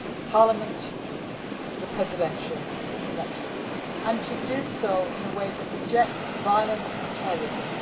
parliament and the presidential elections, and to do so in a way that rejects violence and terrorism.